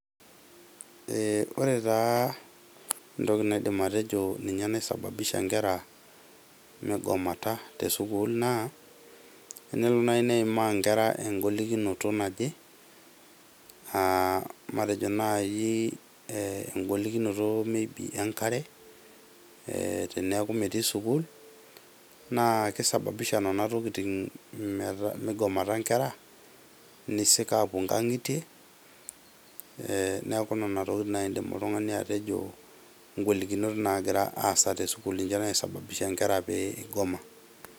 Ee ore taa entoki naidim atejo ninyenaisababisha inkere migomata tesukul naa tenelo nai neimaa inkera engolikinoto naje aa matejo nai engolikinoto maybe enkare teniaku metii sukuul naa kisababisha nena tokitin migomata inkera , nisik apuo nkangitie ee niaku nena tokitin naji indim atejo oltungani atejo ngolikinot nagira aasa te sukuul ,ninche naisababisha nkera pee igoma .